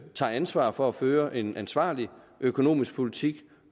tager ansvar for at føre en ansvarlig økonomisk politik